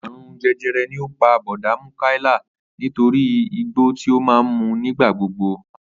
Àrùn je̩je̩re̩ ni ó pà Bò̩dá Múkáílà nítorí igbó ti ó máa ń mu nígbà gbogbo